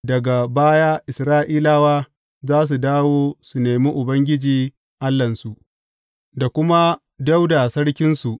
Daga baya Isra’ilawa za su dawo su nemi Ubangiji Allahnsu da kuma Dawuda sarkinsu.